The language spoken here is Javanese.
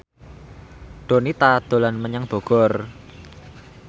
Donita dolan menyang Bogor